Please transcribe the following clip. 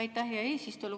Aitäh, hea eesistuja!